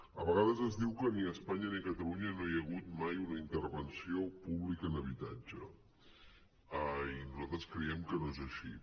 a vegades es diu que ni a espanya ni a catalunya no hi ha hagut mai una intervenció pública en habitatge i nosaltres creiem que no és així